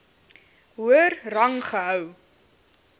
hoër rang gehou